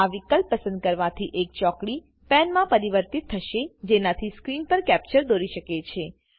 આ વિકલ્પ પસંદ કરવાથી એક ચોકડીપેનમાં પરિવર્તિત થશે જેનાથી સ્ક્રીન પર કેપ્ચર દોરી શકે છે